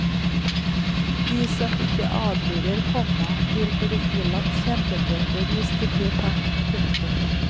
De som ikke adlyder, komma vil bli ilagt kjempebøter hvis de blir tatt. punktum